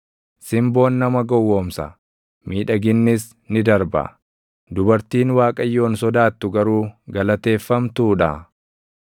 Simboon nama gowwoomsa; miidhaginnis ni darba; dubartiin Waaqayyoon sodaattu garuu galateeffamtuu dha.